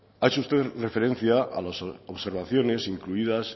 ha hecho usted referencia a las observaciones incluidas